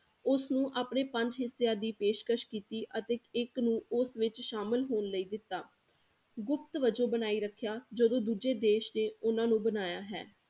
ਉਸ ਨੂੰ ਆਪਣੇ ਪੰਜ ਹਿੱਸਿਆਂ ਦੀ ਪੇਸ਼ਕਸ ਕੀਤੀ ਅਤੇ ਇੱਕ ਨੂੰ ਉਸ ਵਿੱਚ ਸ਼ਾਮਲ ਹੋਣ ਲਈ ਦਿੱਤਾ, ਗੁਪਤ ਵਜੋਂ ਬਣਾਈ ਰੱਖਿਆ ਜਦੋਂ ਦੂਜੇ ਦੇਸ ਨੇ ਉਹਨਾਂ ਨੂੰ ਬਣਾਇਆ ਹੈ